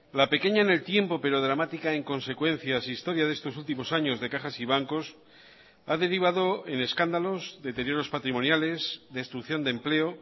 la pequeña en el tiempo pero dramática en consecuencias historia de estos últimos años de cajas y bancos ha derivado en escándalos deterioros patrimoniales destrucción de empleo